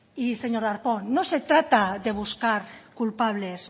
y señor darpón no se trata de buscar culpables